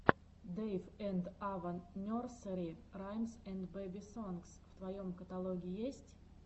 дэйв энд ава нерсери раймс энд бэби сонгс в твоем каталоге есть